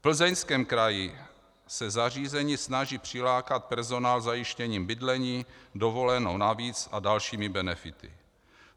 V Plzeňském kraji se zařízení snaží přilákat personál zajištěním bydlení, dovolenou navíc a dalšími benefity.